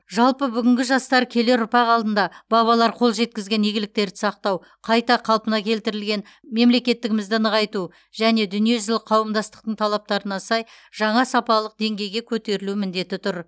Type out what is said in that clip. жалпы бүгінгі жастар келер ұрпақ алдында бабалар қол жеткізген игіліктерді сақтау қайта қалпына келтірілген мемлекеттігімізді нығайту және дүниежүзілік қауымдастықтың талаптарына сай жаңа сапалық деңгейге көтерілу міндеті тұр